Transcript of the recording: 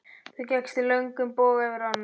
Þú gekkst í löngum boga yfir ána.